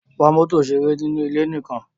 Wa mọ́tò ìṣeré nínú ilé nìkan!